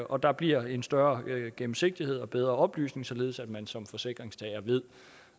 og der bliver en større gennemsigtighed og bedre oplysning således at man som forsikringstager ved